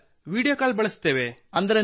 sir video call ಬಳಸುತ್ತೇವೆ